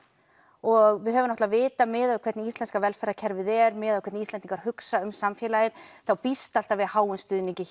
og við höfum náttúrulega vitað miðað við hvernig Íslenska velferðarkerfið er miðað við hvernig Íslendingar hugsa um samfélagið þá býstu alltaf við háum stuðningi